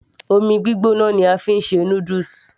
omi gbígbóná ni a fi ń ṣe noodles